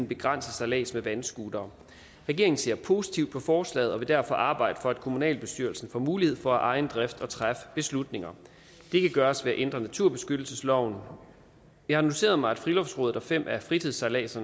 begrænse sejlads med vandscooter regeringen ser positivt på forslaget og vil derfor arbejde for at kommunalbestyrelsen får mulighed for af egen drift at træffe beslutninger det kan gøres ved at ændre naturbeskyttelsesloven jeg har noteret mig at friluftsrådet og fem af fritidssejlernes